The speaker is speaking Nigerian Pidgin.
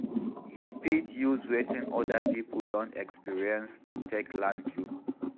You fit use wetin oda pipo don experience take learn too